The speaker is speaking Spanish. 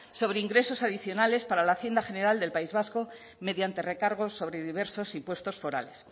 sobre ingresos adicionales para la hacienda general del país vasco mediante recargos sobre diversos y puestos forales